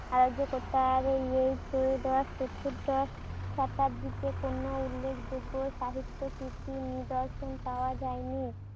অরাজ্কতার এই প্রয়োদশ চতুর্দশ শতাব্দীতে কোনো উল্লেখ যোগ্য সাহিত্য কিছু নিদর্শন পাওয়া যায়নি।